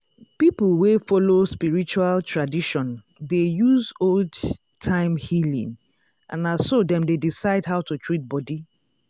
people wey follow spiritual tradition dey use old-time healing and na so dem dey decide how to treat body.